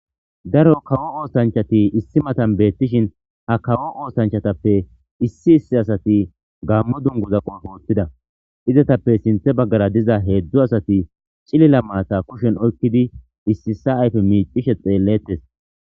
Daro kawo oostanchati issi matan beettishin ha kawo oostanchatappe issi issi asati gammo dunguza qofoottida izatappe sinthe baggara diza heedzdzu asati cilila maata kushen oykkidi issiissa ayfe miicishe xeellettes